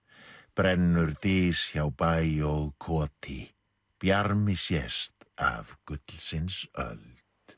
brennur dys hjá bæ og koti bjarmi sést af gullsins öld